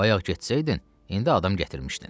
Bayaq getsəydin, indi adam gətirmişdin.